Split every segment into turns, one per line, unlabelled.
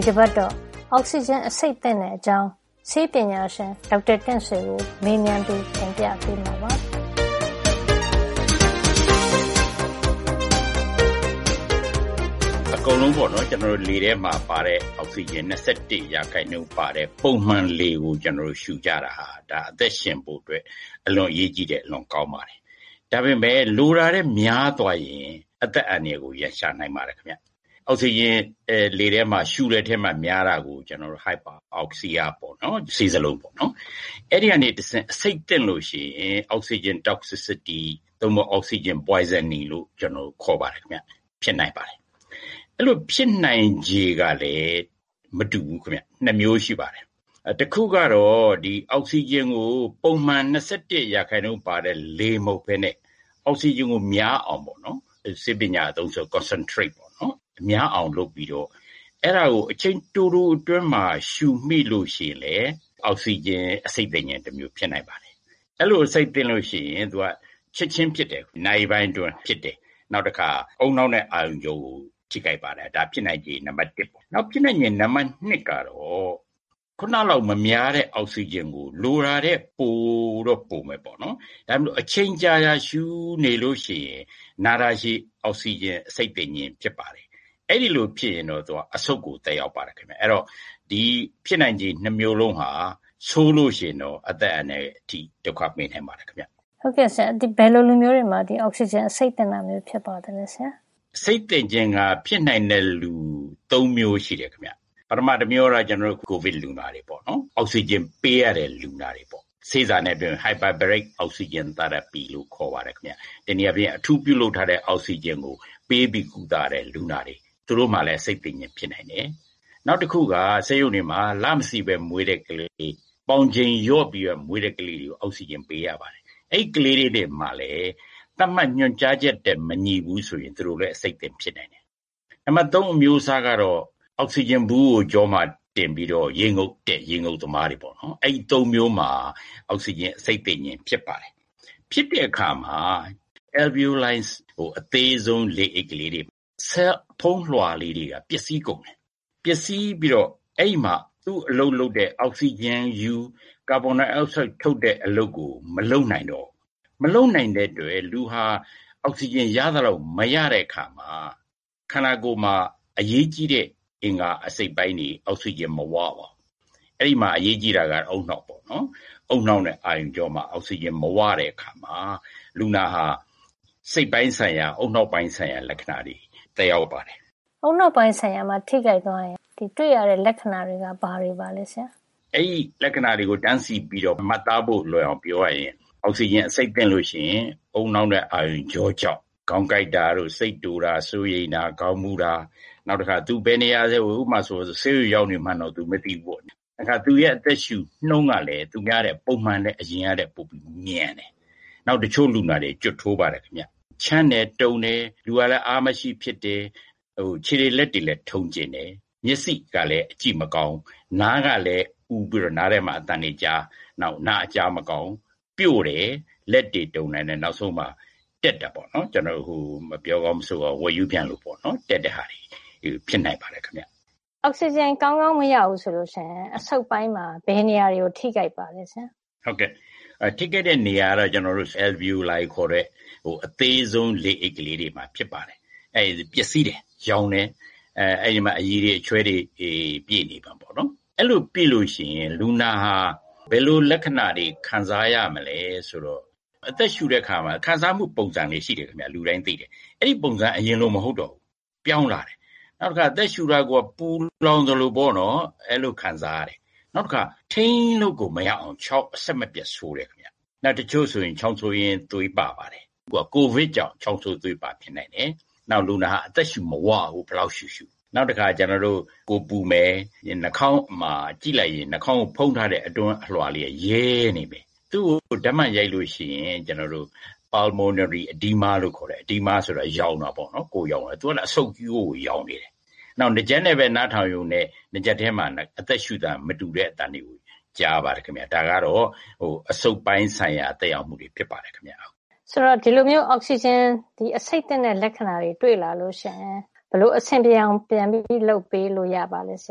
ီတပတ်တော့ အောက်ဆီဂျင် အဆိပ်သင့်တဲ့ အကြောင်း ဆေးပညာရှင် ဒေါက်တာတင့်ဆွေကို မေးမြန်းပြီး တင်ပြပေးမှာပါ။ “ကျနေ
ာ်တို့ အကုန်လုံးဟာ လေထဲမှာတဲ့ အောက်ဆီဂျင် ၂၁ ရာခိုင်နှုန်းပါတဲ့ ပုံမှန်လေကိုပဲ ရှုကြတာဟာ အသက်ရှင်ဖို့အတွက် အလွန်ပဲ အရေးကြီးတယ်။ အလွန်ကောင်းပါတယ်။ ဒါပေမယ့် လိုတာထက် များသွားရင် အသက်ကိုပါ ရန်ရှာနိုင်ပါတယ် ။ အဲဒီလို အောက်ဆီဂျင်လေထဲမှာ ရှုတဲ့ထဲမှာ များတာကို ကျနော်တို့ Hyperoxia လို့ ခေါ်ပါတယ်။ အဲဒီကနေ တဆင့် အဆိပ်သင့်လို့ရှိရင် Oxygen toxicity ဒါမှမဟုတ် oxygen poisoning လို့ ခေါ်ပါတယ်။ ဖြစ်နိုင်ပါတယ်။ အဲဒီလို ဖြစ်နိုင်ချေ ကလည်း မတူဘူးခင်ဗျ။ ၂ မျိုးရှိပါတယ်။ တခုကတော့ ဒီအောက်ဆီဂျင်ကို ပုံမှန် ၂၁ ရာခိုင်နှုန်း ပါတဲ့ လေမဟုတ်ပဲနဲ့ အောက်ဆီဂျင်ကို များအောင်ပေါ့နော်။ ကျနော်တို့ ဆေးပညာအသုံးဆို concentrate ပေါ့။ အဲဒါကို များအောင် လုပ်ပြီးတော့ အချိန်တိုတိုအတွင်းမှာ ရှုမိလို့ ရှိရင်လည်း အောက်ဆီဂျင် အဆိပ်သင့်ခြင်း တမျိုး ဖြစ်နိုင်ပါတယ်။ အဲဒီလို အဆိပ်သင့်ရင် သူက ချက်ချင်း ဖြစ်တယ်။ နာရီပိုင်း အတွင်း ဖြစ်တယ်။ နောက်တခါ ဦးနှောက်နဲ့ အာရုံကြောကို ထိခိုက်ပါတယ်။ ဒါက ဖြစ်နိုင်ခြေ နံပါတ် ၁ ပေါ့နော်။ နောက် ဖြစ်နိုင်ခြေ နံပါတ် ၂ ကတော့ ခုနလောက် မများတဲ့ အောက်ဆီဂျင်ကို လိုတာထက် ပိုတော့ပိုမယ်ပေါ့နော်။ ဒါပေမယ့် အချိန်ကြာကြာကြီး ရှုနေလို့ ရှိရင် နာတာရှည် အောက်ဆီဂျင် အဆိပ်သင့်ခြင်း ဖြစ်ပါတယ်။ အဲဒီလို ဖြစ်ရင်တော့ သူက အဆုတ်ကို သက်ရောက်ပါတယ်ခင်ဗျ။ အဲဒီတော့ ဒီဖြစ်နိုင်ခြေ ၂ မျိုးစလုံးဟာ ဆိုးလို့ရှိရင်တော့ အသက်အန္တရာယ် အထိ ဒုက္ခပေးနိုင်ပါတယ်။ ”
“ဘယ်လိုလူမျိုးတွေမှာ အောက်ဆီဂျင် အဆိပ်သင့်တာ ဖြစ်တတ်ပါသလဲ။ ” “အောက်ဆီဂျင်
အဆိပ်သင့်ခြင်းက ဖြစ်နိုင်တဲ့ လူ ၃ မျိုးရှိတယ် ခင်ဗျ။ ပထမတမျိုးကတော့ အခုဆွေးနွေးနေတဲ့ ကိုဗစ်လူနာတွေ ပေါ့နော်။ သူတို့ကို အောက်ဆီဂျင် ပေးရတဲ့ လူနာပေါ့နော်။ ဆေးသံနဲ့ပြောရင် hyperbaric oxygen therapy လို့ ခေါ်ပါတယ်ခင်ဗျ။ အထူးပြုလုပ်ထားတဲ့ အောက်ဆီဂျင်ကို ပေးပြီး ကုသရတဲ့ လူနာတွေ။ သူတို့မှာလည်း အဆိပ်သင့်ခြင်း ဖြတ်တတ်တယ်။ နောက်တခုက ဆေးရုံတွေမှာ လမစေ့ပဲ မွေးတဲ့ကလေးတွေ၊ ပေါင်ချိန်လျော့ပြီး မွေးတဲ့ကလေးတွေကို အောက်ဆီဂျင် ပေးရပါတယ်။ အဲဒီကလေးတွေမှာလည်း သတ်မှတ် ညွှန်ကြားချက်နဲ့ မညီဘူး ဆိုရင် အဆိပ်သင့်ဖြစ်တယ်။ နံပါတ် ၃ အမျိုးအစားကတော့ အောက်ဆီဂျင်ဘူးကို ကျောမှာတင်ပြီးတော့ ရေငုပ်တဲ့ ရေငုပ်သမားတွေပေါ့။ အဲဒီ ၃ မျိုးမှာ အောက်ဆီဂျင် အဆိပ်သင့်ခြင်း ဖြစ်ပါတယ်။ ဖြစ်တဲ့အခါမှ အယ်လ်ဗီယိုလိုင် ဆဲလ် အဖုံးလွှာ ကလေးတွေက ပျက်စီးကုန်တယ်။ ပျက်စီးပြီးတော့ အဲဒီမှာ သူအလုပ်လုပ်တဲ့ အောက်ဆီဂျင်ယူ။ ကာဗွန်ဒိုင်အောက်ဆိုဒ် ထုတ်တဲ့ အလုပ်ကို မလုပ်နိုင်တော့ဘူး။ မလုပ်နိုင်တဲ့အတွက် လူဟာ အောက်ဆီဂျင် ရလိုသလောက် မရတဲ့အခါမှာ ခန္ဓာကိုယ်မှာ အရေးကြီးတဲ့ အင်္ဂါအစိတ်အပိုင်းတွေ အောက်ဆီဂျင် မဝပါဘူး။ အဲဒီမှာ အရေးကြီးတာက ဦးနှောက်ပေါ့နော်။ ဦးနှောက်နဲ့အာရုံကြောမှာ အောက်ဆီဂျင် မဝတဲ့အခါမှာ လူနာဟာ စိတ်ပိုင်းဆိုင်ရာ ဦးနှောက်ပိုင်း ဆိုင်ရာ လက္ခဏာတွေ သက်ရောက်ပါတယ်။
” “ဦးနှောက်ပိုင်းဆိုင်ရာ ထိခိုက်ရင် တွေ့ရတဲ့ လက္ခဏာတွေက ဘာတွေပါလဲဆရာ။
” “အဲဒီ လက္ခဏာတွေကတော့ အောက်ဆီဂျင် အဆိပ်သင့်လို့ ရှိရင် ဦးနှောက်နဲ့ အာရုံကြောကြောင့် ခေါင်းကိုက်တာ။ စိတ်တိုတာ။ စိုးရိမ်တာ၊ ခေါင်းမူးတာာ။ နောက် သူဘယ်နေရာ ရောက်နေတယ်။ ဥပမာ ဆေးရုံရောက်နေတယ် ဆိုရင်လည်း ရောက်နေမှန်းတောင် မသိဘူးပေါ့။ တခါ သူရဲ့ အသက်ရှုနှုန်း ကလည်း သူများထက် ပုံမှန်ထက် အရင်ကထက် ပိုပြီးတော့ မြန်တယ်။ တချို့လူနာတွေ ဂျို့ထိုးတယ် ခင်ဗျ။ နောက် ချမ်းတယ်။ တုန်တယ်။ လူကလည်း အားမရှိ ဖြစ်တယ်။ ခြေတွေ လက်တွေလည်း ထုံကျဉ်တယ်။ မျက်စိကလည်း ကြည့်လို့ မကောင်းဘူး။ နားကလည်း အူပြီးတော့ နားထဲမှာ အသံတွေကြား နောက် နားအကြား မကောင်းဘူး။ ပျို့တယ်။ လက်တွေ တုန်တာနဲ့ နောက်ဆုံးမှာ တက်တယ် ပေါ့နော်။ ဝက်ရူးပြန်သလိုပေါ့၊ တက်တဲ့ဟာတွေ ဖြစ်နိုင်ပါတယ်ခင်ဗျ။
” “အောက်ဆီဂျင် ကောင်းကောင်း မရဘူးဆိုရင် အဆုတ်ပိုင်းမှာ ဘယ်နေရာတွေကို ထိခိုက်ပါသလဲဆရာ။
” “ထိခိုက်တဲ့နေရာကတော့ အဆုတ်ထဲက အယ်လ်ဗီယိုလိုင် alveoli ခေါ်တဲ့ အဆုတ်ထဲက သေးဆုံး လေအိတ်ကလေးတွေမှာ ဖြစ်ပါတယ်။ ပျက်စီးတယ်။ ယောင်တယ်။ အဲဒီမှာ အရည်တွေ ချွဲတွေ ပြည့်နေတာပေါ့။ အဲဒီလို ပြည့်နေရင် လူနာမှာဘယ်လို လက္ခဏာတွေ ခံစားရမလဲ ဆိုတော့ အသက်ရှုတဲ့အခါမှာ ခံစားမှု ပုံစံလေး ရှိတယ်ခင်ဗျ လူတိုင်းသိတယ်။ အဲဒီပုံစံက အရင်လို မဟုတ်တော့ဘူး။ ပြောင်းလာတယ်။ နောက်တခါ အသက်ရှုတာကိုက ပူလောင်သလို ခံစားရတယ်။ နောက် ထိန်းလို့ကို မရနိုင်အောင် ချောင်း အဆက်မပြတ်ဆိုးတယ်။ တချို့ဆိုရင် ချောင်းဆိုးရင်း သွေးပါတယ်။ ကိုဗစ်ကြောင့် ချောင်းဆိုး သွေးပါ ဖြစ်နိုင်တယ်။ နောက် လူနာက အသက်ရှု မဝဘူး။ ဘယ်လောက်ရှုရှု။ နောက် ကိုယ်ပူမယ်။ နှာခေါင်းမှာ ကြည့်လိုက်ရင် နှာခေါင်းကို ဖုံးထားတဲ့ အတွင်းအလွှာက ရဲနေတယ်။ သူ့ကို ဓါတ်မှန်ရိုက်လို့ရှိရင် သူက pulmonary edema လို့ခေါ်တယ်။ edema ကတော့ ယောင်နေတာပေါ့နော်။ သူက အဆုတ်ယောင်နေတယ်။ နောက် နားကြပ်နဲ့ပဲ နားထောင်ရုံနဲ့ နားကြပ်ထဲမှာ အသက်ရှုတာ မတူတဲ့ အသံတွေ ကြားရပါတယ်ခင်ဗျ။ ဒါကတော့ အဆုတ်ပိုင်း ဆိုင်ရာ သက်ရောက်မှု ဖြစ်ပါတယ်။” “ ဒ
ီလိုအောက်ဆီဂျင်အဆိပ်သင့်တဲ့ လက္ခဏာမျိုးတွေ့လာရင် အဆင်ပြေအောင် ဘယ်လို လုပ်ပေးလို့ရပါလဲ။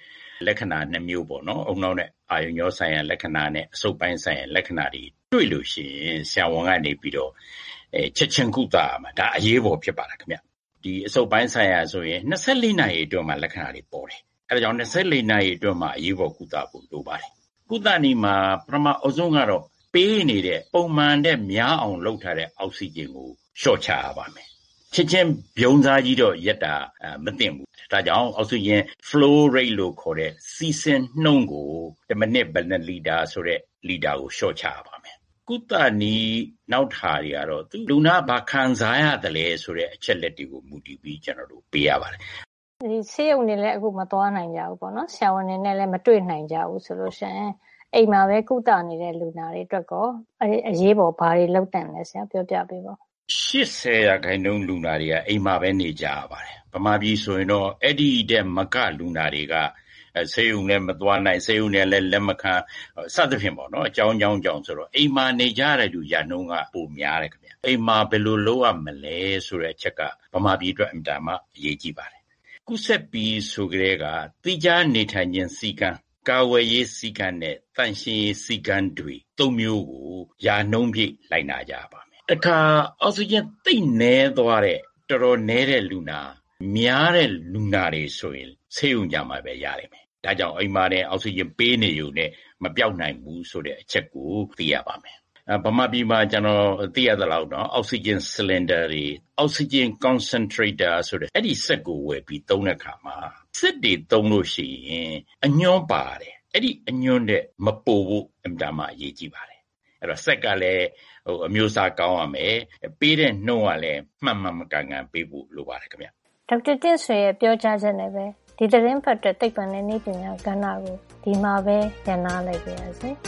” “လက္ခဏာက ၂ မျိုးပေါ့နော်။ ဦးနှောက်နဲ့ အာရုံကြောဆိုင်ရာနဲ့ အဆုတ်ပိုင်း ဆိုင်ရာ လက္ခဏာတွေ တွေ့လို့ရှိရင် ဆရာဝန်က ချက်ချင်း ကုသရပါတယ်။ ဒါအရေးပေါ် ဖြစ်တယ် ခင်ဗျ။ အဆုတ်ပိုင်း ဆိုင်ရာ ဆိုရင် ၂၄ နာရီ အတွင်းမှာကို လက္ခဏာတွေ ပေါ်ပါတယ်။ အဲဒီတော့ ၂၄ နာရီ အတွင်းမှာ ကုသပေးဖို့ လိုပါတယ်။ ကုသနည်းမှာ ပထမဦးဆုံးကတော့ ပေးနေတဲ့ ပုံမှန်ထက် များအောင် လုပ်ထားတဲ့ အောက်ဆီဂျင်ကို လေ ျှာ့ချရပါမယ်။ ချက်ချင်း ဗြုံးစားကြီးတော့ ရပ်တာ မသင့်ဘူး၊ flow rate လို့ခေါ်တဲ့ စီးဆင်းနှုန်းကို တမိနစ် ဘယ်နှစ်လီတာ ဆိုတာကို လေ ျှာ့ချရပါတယ်။ ကုသနည်း နောက် ဟာတွေ ကတော့ လူနာက ဘာခံစားရသလဲ ဆိုတဲ့ အချက်လက်တွေပေါ်မူတည်ြ့ပီး ကျနော်တို့ ပေးရပါတယ်။
” “အခု ဆေးရုံတွေကိုလည်း မသွားနိုင်ကြဘူး။ ဆရာဝန်တွေနဲ့လည်း မတွေ့နိုင်ကြဘူးဆိုရင်၊ အိမ်မှာပဲ ကုသနေတဲ့ လူနာတွေ အတွက်ရော အရေးပေါ် ဘာတွေ လုပ်သင့်တယ် ဆိုတာ ပြောပြပေးပါ။
” “၈၀ % လူနာတွေက အိမ်မှာပဲ နေကြရပါတယ်။ မြန်မာပြည်ဆိုရင်တော့ အဲဒီထက်မက လူနာတွေက ဆေးရုံလည်း မသွားနိုင်၊ ဆေးရုံတွေကလည်း လက်မခံ၊ စသဖြင့် အကြောင်းကြောင်း တွေကြေ ာင့် အိမ်မှာ နေကြရတဲ့ သူ ရာခိုင်နှုန်းက ပိုများတယ်။ အိမ်မှာ ဘယ်လိုလုပ်ရမလဲ ဆိုတဲ့ အချက်က မြန်မာပြည်အတွက် အင်မတန်မှ အရေးကြီးပါတယ်။ ကူးစက်ပြီ ဆိုကတည်းက အိမ်မှာ သီးခြားနေထိုင်ခြင်း စည်းကမ်း၊ သန့်ရှင်းရေး စည်းကမ်းနဲ့ ကာကွယ်ရေး စည်းကမ်း ဒီ ၃ မျိုးကို ရာနှုန်းပြည့်လိုက်နာ ကြရပါမယ်။ တခါ အောက်ဆီဂျင် သိပ်နည်းသွားတဲ့ တော်တော်နည်းတဲ့ လူနာ၊ များတဲ့လူနာ တွေ ဆိုရင် ဆေးရုံကြမှပဲ ရတော့တယ်။ ဒါကြောင့် အိမ်မှာတင် အောက်ဆီဂျင် ပေးနေရုံနဲ့ မပျောက်နိုင်ဘူး ဆိုတဲ့ အချက်ကို သိရပါမယ်။ မြန်မာပြည်မှာ ကျနော် သိရသလောက် အောက်ဆီဂျင် ဆလင်ဒါတွေ၊ အောက်ဆီဂျင် concentrator တွေ၊ အဲဒီစက်ကို ဝယ်ပြီး သုံးတဲ့အခါ စက်တွေ သုံးလို့ရှိရင် အညွှန်းပါပါတယ်။ အဲဒီ အညွှန်းထက် မပိုဖို့ အင်မတန် အရေးကြီးတယ်။ စက်ကလည်း အမျိုးအစား ကောင်းရမယ့် ပေးတဲ့နှုန်းကလည်း မှန်မှန်ကန်ကန် ပေးဖို့ လိုပါတယ်။”
ဒေါက်တာတင့်ဆွေရဲ့ ပြောကြားချက်နဲ့ပဲ ဒီသီတင်းပတ်အတွက် သိပ္ပံနဲ့ နည်းပညာကဏ္ဍကို ဒီမှာပဲ ရပ်နားလိုက်ပါရစေ။